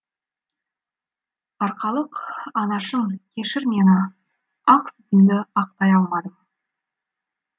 арқалық анашым кешір мені ақ сүтіңді ақтай алмадым